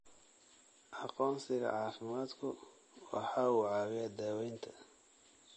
Aqoonsiga caafimaadku waxa uu caawiyaa daaweynta.